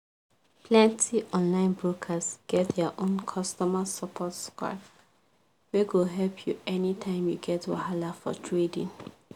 plenty online brokers get their own customer support squad wey go help you anytime you get wahala for trading